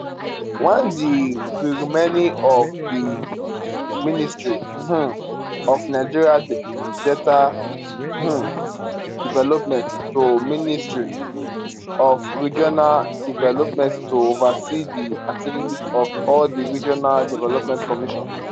1di renaming of di ministry um of nigeria delta um development to ministry of regional development to oversee di activities of all di regional development commissions